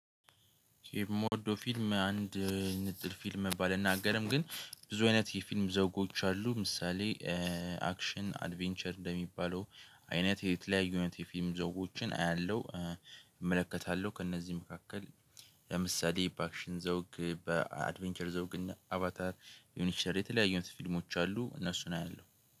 የምወደው ፊልም አንድ ንጥል ፊልም መባል አልናገርም ግን ብዙ አይነት የፊልም ዘጎች አሉ ምሳሌ አክሽን አድቬንቸር እንደሚባለው አይነት የተለያዩ ነገር የፊልም ደጎችን አያለሁ። እመለከታለሁ ከእነዚህ መካከል ለምሳሌ በአክሽን ዘውግ በአድቬንቸር ዘውግ እና አቫታር የሆነ ሸር የተለያዩ ፊልሞች አሉ እነሱን አያለሁ